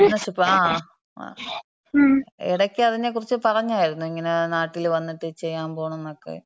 Partnership. ങ്ങാ ഇടയ്ക്ക് അതിനെക്കുറിച്ച് പറഞ്ഞാരുന്നു. ഇങ്ങനെ നാട്ടില് വന്നിട്ട് ചെയ്യാമ്പോണന്നെക്കെ.